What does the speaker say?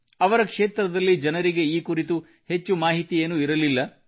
ಅವರ ಕ್ಷೇತ್ರದಲ್ಲಿ ಜನರಿಗೆ ಈ ಕುರಿತು ಹೆಚ್ಚು ಮಾಹಿತಿಯೇನೂ ಇರಲಿಲ್ಲ